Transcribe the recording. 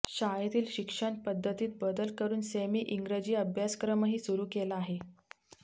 शाळेतील शिक्षण पद्धतीत बदल करून सेमी इंग्रजी अभ्यासक्रमही सुरू केला आहे